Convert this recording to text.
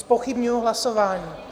Zpochybňuji hlasování.